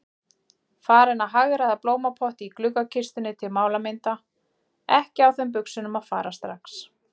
Farin að hagræða blómapotti í gluggakistunni til málamynda, ekki á þeim buxunum að fara strax.